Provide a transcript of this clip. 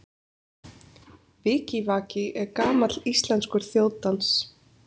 Vikivaki er gamall íslenskur þjóðdans.